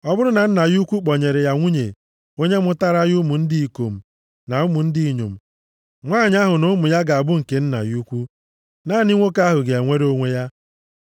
Ọ bụrụ na nna ya ukwu kpọnyere ya nwunye onye mụtaara ya ụmụ ndị ikom na ụmụ ndị inyom, nwanyị ahụ na ụmụ ya ga-abụ nke nna ya ukwu, naanị nwoke ahụ ga-enwere onwe ya.